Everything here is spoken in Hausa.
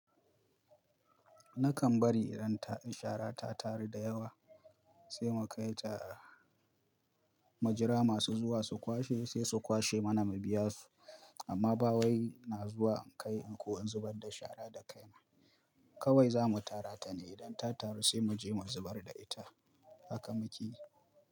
Nakan bari idan shara ta taru da yawa sai mu kai ta, mujira masu zuwa su kwashe sai su kwashe mana mu biya su. Amma bawai ina zuwa kai in ko in zubar da shara da kaima. Kawai za mu tara ta ne idan ta taru sai mu je mu zubar da ita. Haka muke.